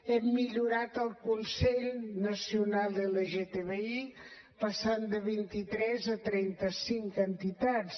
hem millorat el consell nacional lgtbi que passa de vint i tres a trenta cinc entitats